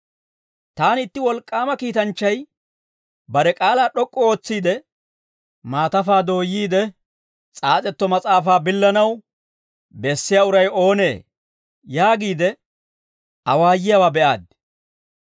Taani itti wolk'k'aama kiitanchchay bare k'aalaa d'ok'k'u ootsiide, «Maatafaa dooyyiide, s'aas'etto mas'aafaa billanaw bessiyaa uray oonee?» yaagiide, awaayiyaawaa be'aaddi.